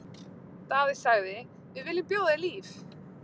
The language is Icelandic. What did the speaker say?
Daði sagði:-Við viljum bjóða þér líf!